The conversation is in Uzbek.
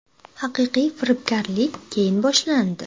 Haqiqiy firibgarlik keyin boshlandi.